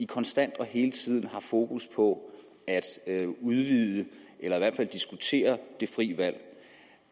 konstant og hele tiden har fokus på at udvide eller i hvert fald diskutere det frie valg